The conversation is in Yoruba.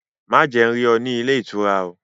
Má jẹ́ n rí ọ ní ilé ìtura!